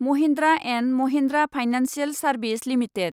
Mahindra and Mahindra financial service limited